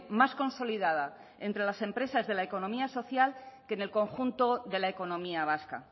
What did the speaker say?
más consolidada entre las empresas de la economía social que en el conjunto de la economía vasca